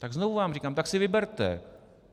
Tak znovu vám říkám: Tak si vyberte!